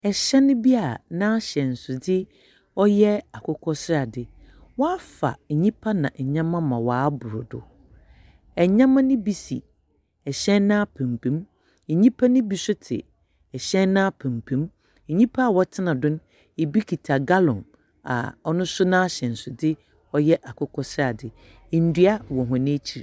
Hyɛn bi a n’ahyɛnsode yɛ akokɔsrade, wafa nnipa na nneɛma ma wɔabor do. Nneɛma ne bi si hyɛn n’apampam, nnipa ne bi nso te hyɛn n’apampam. Nnipa a wɔtena do, bi kita gallon a ɔno nso n’ahyɛnsode yɛ akokɔsrade. Ndua wɔ wɔn akyi.